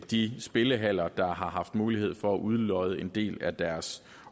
de spillehaller der har haft mulighed for at udlodde en del af deres